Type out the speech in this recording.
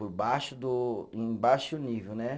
por baixo do, em baixo nível, né?